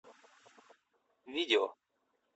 видео